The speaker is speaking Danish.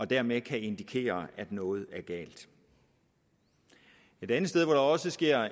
dermed kan indikere at noget er galt et andet sted hvor der også sker